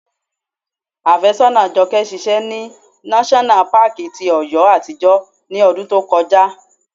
Afésọ́nàa Jọkẹ́ ṣiṣẹ́ ní náṣọ́nà paàkì ti Ọ̀yọ́ àtijọ́ ní ọdún tí ó kọjá